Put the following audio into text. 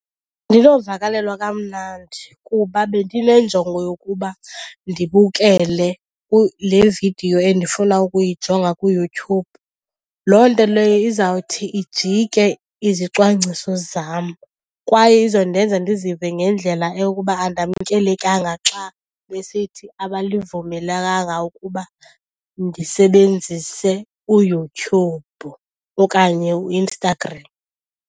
Andinovakalelwa kamnandi kuba bendinenjongo yokuba ndibukele le vidiyo endifuna ukuyijonga kuYouTube. Loo nto leyo izawuthi ijike izicwangciso zam kwaye izondenza ndizive ngendlela eyokuba andamkelekanga xa besithi abalivumelelanga ukuba ndisebenzise uYouTube okanye uInstagram.